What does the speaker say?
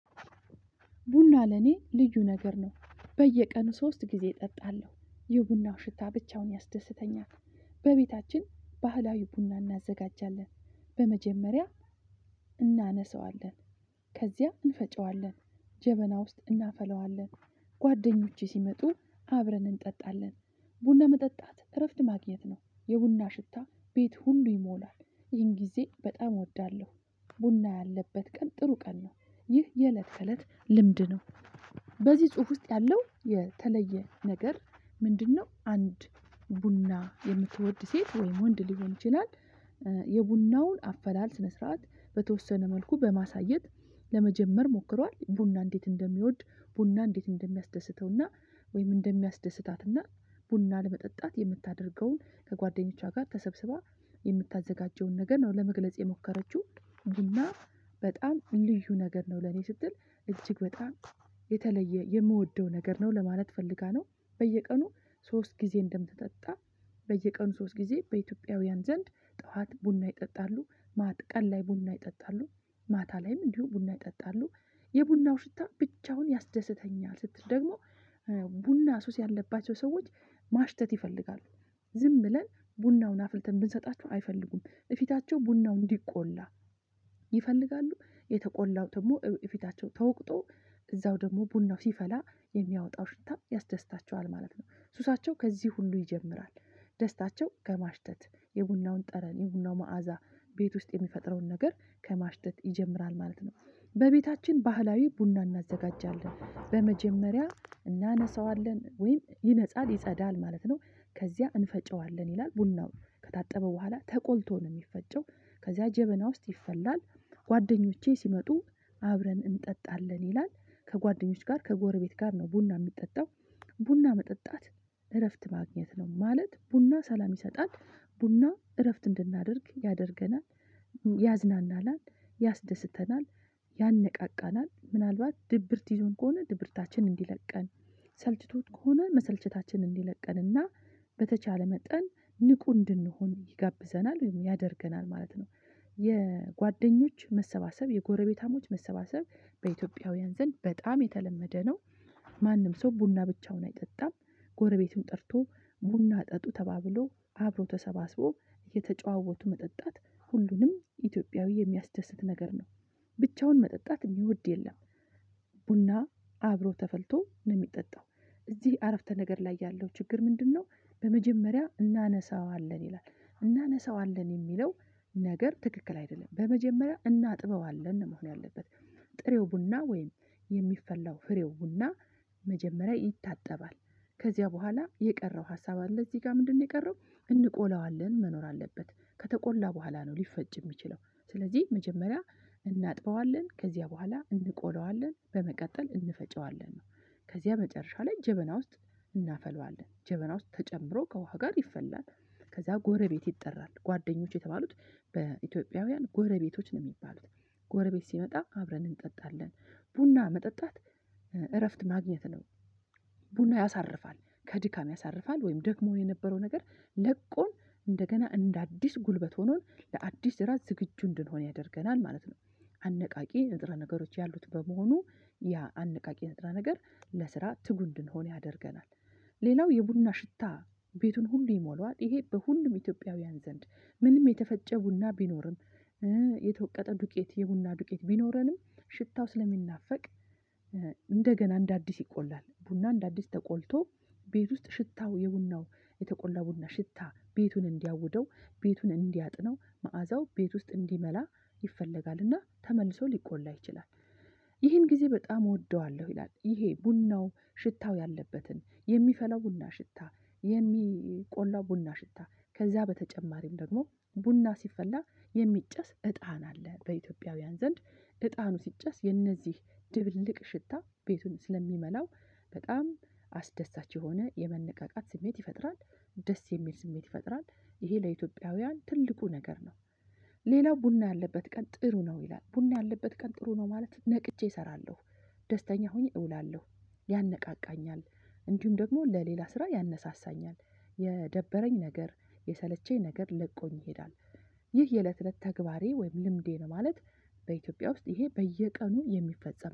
ቡና ለኔ ልዩ ነገር ነው። በየቀኑ ሶስት ጊዜ እጠጣለሁ የቡናው ሽታ ብቻውን ያስደስተኛል። በቤታችን ባህላዊ ቡና እናዘጋጃለን። በመጀመሪያ እናነሳዋለን ከዚያ እንፈጨዋለን ጀበና ውስጥ እናፈላዋለን። ጓደኞቼ ሲመጡ አብረን እንጠጣለን። ቡና መጠጣት እረፍት ማግኘት ነው የቡና ሽታ ቤት ሁሉ ይሞላል ይህን ጊዜ በጣም እወዳለሁ። ቡና ያለበት ቀን ጥሩ ቀን ነው። ይህ የእለት ተእለት ልምድ ነው። በዚህ ጽሁፍ ውስጥ ያለው የተለየ ነገር ምንድነው? አንድ ቡና የምትወድ ሴት ወይም ወንድ ሊሆን ይችላል። የቡናውን አፈላል ስነ ስርዓት በተወሰነ መልኩ በማሳየት። ለመጀመር ሞክሯል ቡና እንዴት እንደሚወድ ቡና እንዴት እንደሚያስደስተው እና ወይም እንደሚያስደስታት እና ቡና ለመጠጣት የምታደርገውን ከጓደኞቿ ጋር ተሰብስባ የምታዘጋጀውን ነገር ነው ለመግለጽ የሞከረችው። ጂና በጣም ልዩ ነገር ነው ለኔ ስትል እጅግ በጣም የተለየ የምወደው ነገር ነው ለማለት ፈልጋ ነው። በየቀኑ ሶስት ጊዜ እንደምትጠጣ በየቀኑ ሶስት ጊዜ በኢትዮጵያውያን ዘንድ ጠዋት ቡና ይጠጣሉ ማት ቀን ላይ ቡና ይጠጣሉ ማታ ላይም እንዲሁ ቡና ይጠጣሉ። የቡናው ሽታ ብቻውን ያስደስተኛል ስትል ደግሞ ቡና ሱስ ያለባቸው ሰዎች ማሽተት ይፈልጋሉ ዝም ብለን ቡናውን አፍልተን ብንሰጣችሁ አይፈልጉም እፊታቸው ቡናው እንዲቆላ ይፈልጋሉ። የተቆላው ደግሞ ፊታቸው ተወቅጦ እዛው ደግሞ ቡናው ሲፈላ የሚያወጣው ሽታ ያስደስታቸዋል ማለት ነው። ሱሳቸው ከዚህ ሁሉ ይጀምራል ደስታቸው ከማሽተት የቡናውን ጠረን የቡናው መዓዛ ቤት ውስጥ የሚፈጥረውን ነገር ከማሽተት ይጀምራል ማለት ነው። በቤታችን ባህላዊ ቡና እናዘጋጃለን በመጀመሪያ እናነሳዋለን ወይም ይነጻል ይጸዳል ማለት ነው። ከዚያ እንፈጨዋለን ይላል ቡናው ከታጠበ በኋላ ተቆልቶ ነው ሚፈጨው ከዚያ ጀበና ውስጥ ይፈላል። ጓደኞቼ ሲመጡ አብረን እንጠጣለን ይላል ከጓደኞች ጋር ከጎረቤት ጋር ነው ቡና ሚጠጣው። ቡና መጠጣት እረፍት ማግኘት ነው ማለት ቡና ሰላም ይሰጣል። ቡና እረፍት እንድናደርግ ያደርገናል ያዝናናናል ያስደስተናል ያነቃቃናል ምናልባት ድብርት ይዞን ከሆነ ድብርታችን እንዲለቀን ሰልችቶት ከሆነ መሰልቸታችን እንዲለቀን እና በተቻለ መጠን ንቁ እንድንሆን ይጋብዘናል ወይም ያደርገናል ማለት ነው። የጓደኞች መሰባሰብ የጎረቤታሞች መሰባሰብ በኢትዮጵያውያን ዘንድ በጣም የተለመደ ነው። ማንም ሰው ቡና ብቻውን አይጠጣም። ጎረቤቱን ጠርቶ ቡና ጠጡ ተባብሎ አብሮ ተሰባስቦ እየተጨዋወቱ መጠጣት ሁሉንም ኢትዮጵያዊ የሚያስደስት ነገር ነው። ብቻውን መጠጣት እሚወድ የለም። ቡና አብሮ ተፈልቶ ነው ሚጠጣው እዚህ አረፍተነገር ላይ ያለው ችግር ምንድነው? በመጀመሪያ እናነሳዋለን ይላል እናነሳዋለን የሚለው ነገር ትክክል አይደለም በመጀመሪያ እናጥበዋለን ነው መሆን ያለበት። ጥሬው ቡና ወይም የሚፈላው ፍሬው ቡና መጀመሪያ ይታጠባል። ከዚያ በኋላ የቀረው ሀሳብ አለ እዚህ ጋር ምንድነው የቀረው? እንቆላዋለን መኖር አለበት ከተቆላ በኋላ ነው ሊፈጭ እሚችለው ስለዚህ መጀመሪያ እናጥበዋለን ከዚያ በኋላ እንቆላዋለን በመቀጠል እንፈጨዋለን ነው። ከዚያ መጨረሻ ላይ ጀበና ውስጥ እናፈላዋለን ጀበና ውስጥ ተጨምሮ ከውሃ ጋር ይፈላል። ከዛ ጎረቤት ይጠራል ጓደኞች የተባሉት በኢትዮጵያውያን ጎረቤቶች ነው ሚባሉት ጎረቤት ሲመጣ አብረን እንጠጣለን። ቡና መጠጣት እረፍት ማግኘት ነው። ቡና ያሳርፋል ከድካም ያሳርፋል ወይም ደግሞ የነበረው ነገር ለቆን እንደገና እንደ አዲስ ጉልበት ሆኖን ለአዲስ ስራ ዝግጁ እንድንሆን ያደርገናል ማለት ነው። አነቃቂ ንጥረ ነገሮች ያሉት በመሆኑ ያ አነቃቂ ንጥረ ነገር ለስራ ትጉ እንድንሆን ያደርገናል። ሌላው የቡና ሽታ ቤቱን ሁሉ ይሞላዋል ይሄ በሁሉም ኢትዮጵያውያን ዘንድ ምንም የተፈጨ ቡና ቢኖርም የተወቀጠ ዱቄት የቡና ዱቄት ቢኖረንም ሽታው ስለሚናፈቅ እንደገና እንደ አዲስ ይቆላል ቡና እንደ አዲስ ተቆልቶ ቤት ውስጥ ሽታው የቡናው የተቆላ ቡና ሽታ ቤቱን እንዲያውደው ቤቱን እንዲያጥነው መዓዛው ቤት ውስጥ እንዲመላ ይፈለጋል እና ተመልሶ ሊቆላ ይችላል። ይህን ጊዜ በጣም እወደዋለሁ ይላል ይሄ ቡናው ሽታው ያለበትን የሚፈላ ቡና ሽታ የሚቆላ ቡና ሽታ ከዚያ በተጨማሪም ደግሞ ቡና ሲፈላ የሚጨስ እጣን አለ በኢትዮጵያውያን ዘንድ እጣኑ ሲጨስ የነዚህ ድብልቅ ሽታ ቤቱን ስለሚመላው በጣም አስደሳች የሆነ የመነቃቃት ስሜት ይፈጥራል። ደስ የሚል ስሜት ይፈጥራል። ይሄ ለኢትዮጵያውያን ትልቁ ነገር ነው። ሌላው ቡና ያለበት ቀን ጥሩ ነው ይላል ቡና ያለበት ቀን ጥሩ ነው ማለት ነቅቼ እሰራለሁ ደስተኛ ሆኜ እውላለሁ ያነቃቃኛል እንዲሁም ደግሞ ለሌላ ስራ ያነሳሳኛል የደበረኝ ነገር የሰለቸኝ ነገር ለቆኝ ይሄዳል። ይህ የእለት እለት ተግባሬ ወይም ልምዴ ነው ማለት። በኢትዮጵያ ውስጥ ይሄ በየቀኑ የሚፈጸም